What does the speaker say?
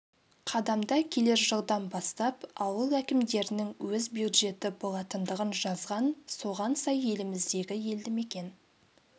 қадамда келер жылдан бастап ауыл әкімдіктерінің өз бюджеті болатындығын жазған соған сай еліміздегі елді мекен